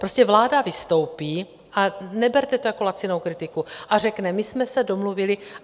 Prostě vláda vystoupí - a neberte to jako lacinou kritiku - a řekne: My jsme se domluvili...